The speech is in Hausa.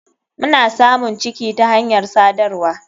Mna samun ciki ta hanyar sadarwa.